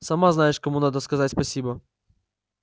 сама знаешь кому надо сказать спасибо